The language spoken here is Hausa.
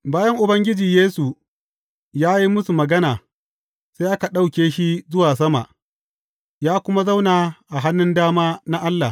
Bayan Ubangiji Yesu ya yi musu magana, sai aka ɗauke shi zuwa sama, ya kuma zauna a hannun dama na Allah.